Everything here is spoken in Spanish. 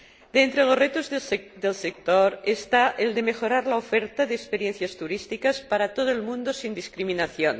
De entre los retos del sector está el de mejorar la oferta de experiencias turísticas para todo el mundo sin discriminación.